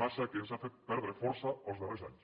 massa que ens ha fet perdre força els darrers anys